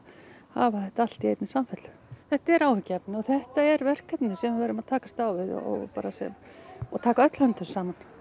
hafa þetta allt í einni samfellu þetta er áhyggjuefni og þetta er verkefni sem við erum að takast á við og taka öll höndum saman